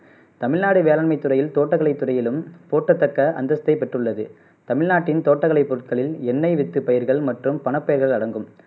தமிழ்நாடு வேளாண்மை துறையில் தோட்டக்கலை துறையிலும் போற்றத்தக்க அந்தஸ்தை பெற்றுள்ளது தமிழ்நாட்டின் தோட்டக்கலை பொருள்களில் எண்ணெய் வித்து பயிர்கள் மற்றும் பணப் பயிர்கள் அடங்கும்